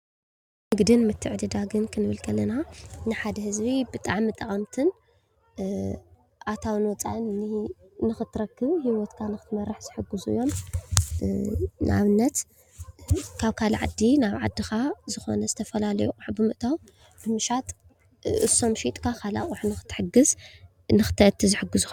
ንግድን ምትዕድዳግን ክንብል ከለና ንሓደ ህዝቢ ብጣዕሚ ጠቀምቲ ኣታውን ወፃእን ንክትረክብ ሂወትካ ንክትመርሕ ዝሕግዙ እዮም። ንኣብነት ካብ ካሊእ ዓዲ ናብ ዓድኻ ዝኾነ ዝተፈላለዩ ኣቕሑ ብምእታው ብምሻጥ እሶም ሸይጥካ ካሊእ ኣቕሑ ክትገዝእን ክትእቱን ዝሕግዙካ እዩ።